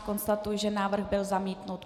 Konstatuji, že návrh byl zamítnut.